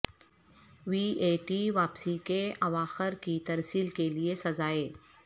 we A T واپسی کے اواخر کی ترسیل کے لئے سزائے